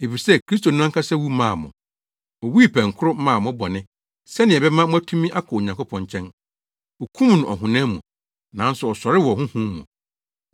Efisɛ Kristo no ankasa wu maa mo. Owui pɛnkoro maa mo bɔne sɛnea ɛbɛma moatumi akɔ Onyankopɔn nkyɛn. Wokum no ɔhonam mu, nanso ɔsɔree wɔ honhom mu,